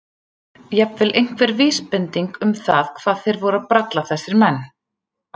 Jafnvel einhver vísbending um það hvað þeir voru að bralla þessir menn.